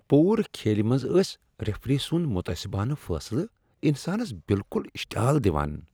پورٕ کھیلہ منز ٲسۍ ریفری سنٛد متعصبانہ فیصلہٕ انسانس بالکل اشتعال دِوان۔